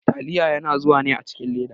Taliya yana zuwa ne a cikin leda.